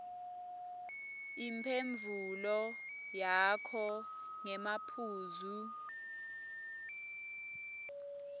imphendvulo yakho ngemaphuzu